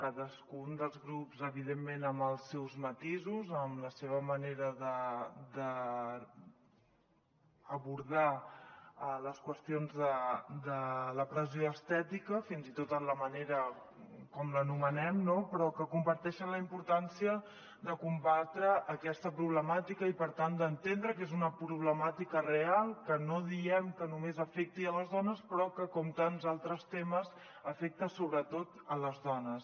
cadascun dels grups evidentment amb els seus matisos amb la seva manera d’abordar les qüestions de la pressió estètica fins i tot en la manera com l’anomenem no però que comparteixen la importància de combatre aquesta problemàtica i per tant d’entendre que és una proble·màtica real que no diem que només afecti les dones però que com tants altres temes afecta sobretot les dones